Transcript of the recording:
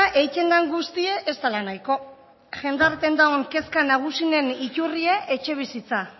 eitten dan guztie ez dela nahiko jendarten dagon kezka nagusinen itturrie etxebizitza